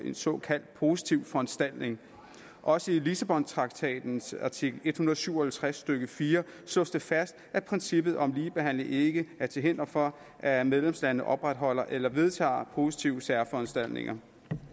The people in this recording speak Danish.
en såkaldt positiv foranstaltning også i lissabontraktatens artikel en hundrede og syv og halvtreds stykke fire slås det fast at princippet om ligebehandling ikke er til hinder for at medlemslandene opretholder eller vedtager positive særforanstaltninger